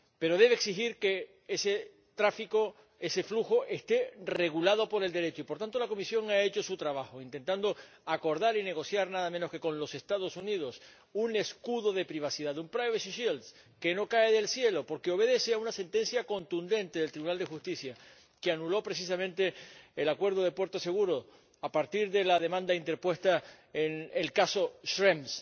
Pero debe exigir que ese tráfico, ese flujo, esté regulado por el Derecho y, por tanto, la Comisión ha hecho su trabajo intentando acordar y negociar nada menos que con los Estados Unidos un escudo de privacidad, un que no cae del cielo, porque obedece a una sentencia contundente del Tribunal de Justicia, que anuló precisamente el acuerdo de puerto seguro a partir de la demanda interpuesta en el caso Schrems.